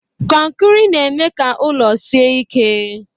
Kọnkịrị na-eme ka ụlọ sie ike.